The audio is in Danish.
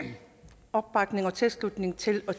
opbakning og tilslutning til